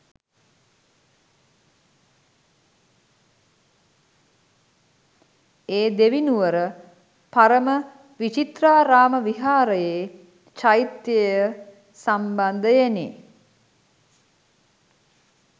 ඒ දෙවිනුවර පරම විචිත්‍රාරාම විහාරයේ චෛත්‍ය සම්බන්ධයෙනි.